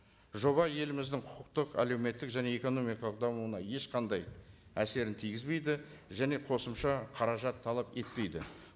жоба еліміздің құқықтық әлеуметтік және экономикалық дамуына ешқандай әсерін тигізбейді және қосымша қаражат талап етпейді